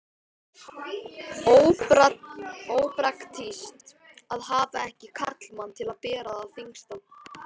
Ópraktískt að hafa ekki karlmann til að bera það þyngsta.